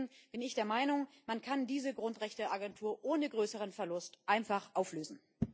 Deswegen bin ich der Meinung, man kann diese Grundrechteagentur ohne größeren Verlust einfach auflösen.